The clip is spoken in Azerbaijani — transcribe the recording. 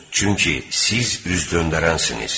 Çünki siz üz döndərənsiniz.